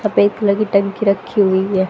सफेद कलर की टंकी रखी हुई हैं।